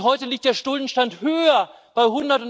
Und heute liegt der Schuldenstand höher bei